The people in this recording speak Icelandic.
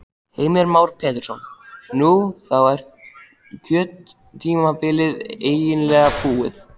Heimir Már Pétursson: Nú, þá er kjörtímabilið eiginlega búið?